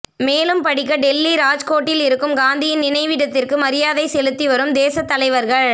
மேலும் படிக்க டெல்லி ராஜ்கோட்டில் இருக்கும் காந்தியின் நினைவிடத்திற்கு மரியாதை செலுத்திவரும் தேசத் தலைவர்கள்